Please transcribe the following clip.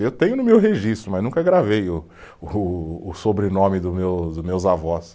Eu tenho no meu registro, mas nunca gravei o o, o sobrenome do meus, dos meus avós.